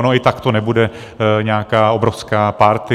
Ona i takto to nebude nějaká obrovská party.